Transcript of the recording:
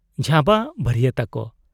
ᱡᱷᱟᱵᱟ ᱵᱷᱟᱨᱤᱭᱟᱹᱛᱟᱠᱚ ᱾